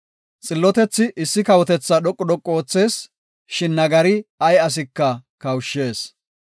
Xillotethi issi kawotetha dhoqu dhoqu oothees; shin nagari ay asika kawushshees.